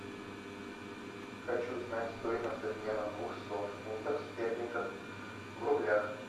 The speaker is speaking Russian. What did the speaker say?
хочу знать стоимость обмена двухсот фунтов стерлингов в рублях